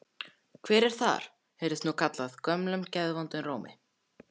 Hver er þar? heyrðist nú kallað gömlum geðvondum rómi.